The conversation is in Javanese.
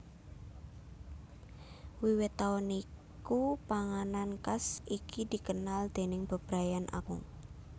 Wiwit taun iku panganan khas iki dikenal déning bebrayan agung